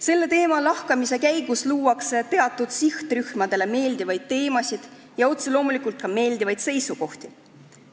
Selle teema lahkamise käigus tuuakse esile teatud sihtrühmadele meeldivaid teemasid ja otse loomulikult ka meeldivaid seisukohti.